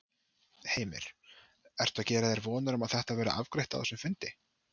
Heimir: Ertu að gera þér vonir um að þetta verði afgreitt á þessum fundi?